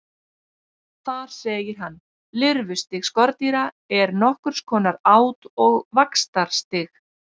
Þar segir hann: Lirfustig skordýra er nokkurs konar át- og vaxtarstig.